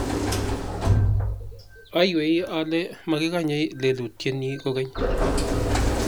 aywei ale makikanye makosenyi kogeny